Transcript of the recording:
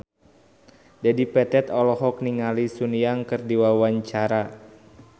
Dedi Petet olohok ningali Sun Yang keur diwawancara